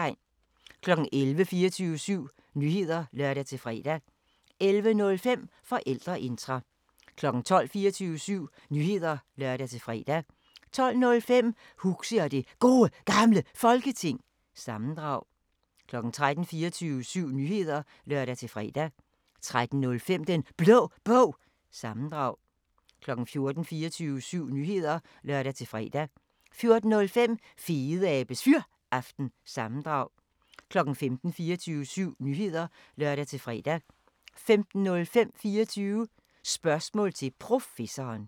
11:00: 24syv Nyheder (lør-fre) 11:05: Forældreintra 12:00: 24syv Nyheder (lør-fre) 12:05: Huxi og det Gode Gamle Folketing – sammendrag 13:00: 24syv Nyheder (lør-fre) 13:05: Den Blå Bog – sammendrag 14:00: 24syv Nyheder (lør-fre) 14:05: Fedeabes Fyraften – sammendrag 15:00: 24syv Nyheder (lør-fre) 15:05: 24 Spørgsmål til Professoren